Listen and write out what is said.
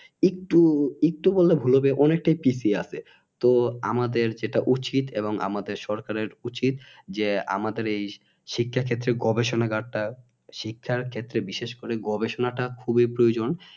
একটু একটু বললে ভুল হবে অনেকটাই পিছিয়ে আছে তো আমাদের যেটা উচিত এবং আমাদের সরকারের উচিত যে আমাদের এই শিক্ষা ক্ষেত্রে গবেষণাগারটা শিক্ষার ক্ষেত্রে বিশেষ করে গবেষণাটা খুবই প্রয়োজন